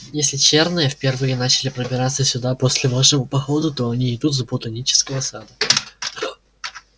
если чёрные впервые начали пробираться сюда после вашего похода то идут они с ботанического сада